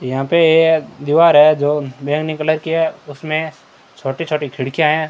यहां पे एक दीवार है जो बैंगनी कलर की है उसमें छोटी छोटी खिड़कियां हैं।